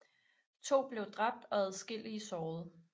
To blev dræbt og adskillige såret